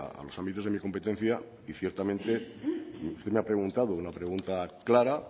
a los ámbitos de mi competencia y ciertamente usted me ha preguntado una pregunta clara